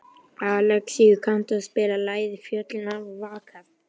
Alexíus, kanntu að spila lagið „Fjöllin hafa vakað“?